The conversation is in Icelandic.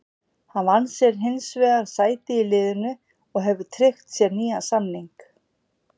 Hann vann sér hins vegar sæti í liðinu og hefur tryggt sér nýjan samning.